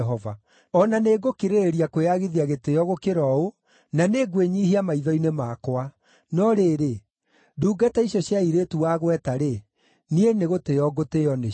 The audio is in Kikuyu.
O na nĩ ngũkĩrĩrĩria kwĩyagithia gĩtĩĩo gũkĩra ũũ, na nĩngwĩnyiihia maitho-inĩ makwa. No rĩrĩ, ndungata icio cia airĩtu wagweta-rĩ, niĩ nĩgũtĩĩo ngũtĩĩo nĩcio.”